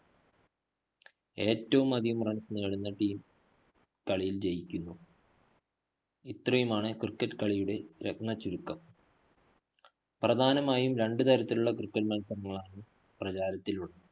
ഏറ്റവും അധികം runs നേടുന്ന team കളിയില്‍ ജയിക്കുന്നു. ഇത്രയുമാണ് cricket കളിയുടെ രത്നച്ചുരുക്കം. പ്രധാനമായും രണ്ടുതരത്തിലുള്ള cricket മത്സരങ്ങളാണ് പ്രചാരത്തിലുള്ളത്.